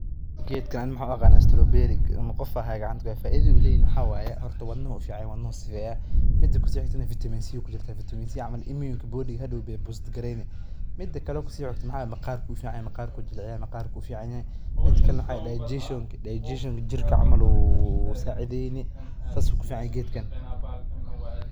Geedkan waxaa waye geed fican wadnaha ayuu ufican yahay iyo maqaarka ayuu jelciyaa saas ayuu ku fican yahay geedkan.